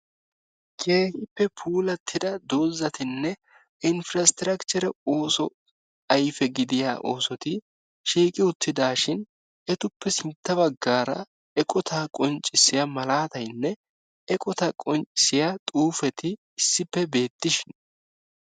keehippe puullattida doozzatinne inpiraaistrakicheree ooso ayfee gidiyaa oosoti shiiqi uuttidaashin etuppe sintta baggaara eeqotaa qonccisiyaa malataynne eqotaa qonccisiyaa xuuppeti issippe beetiishin.